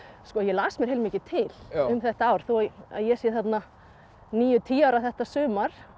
ég las mér heilmikið til um þetta ár þó ég sé þarna níu tíu ára þetta sumar